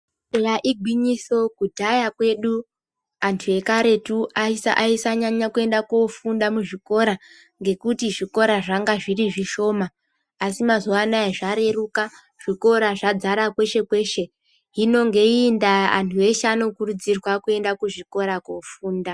Eya igwinyiso kudhaya kwedu antu ekaretu aisanyanya kuenda kofunda muzvikora ngekuti zvikora zvanga zviri zvishoma asi mazuwa anaya zvareruka zvikora zvadzara kweshe kweshe hino ngeiyi ndaa antu eshe anokurudzirwa kuenda kuzvikora kofunda.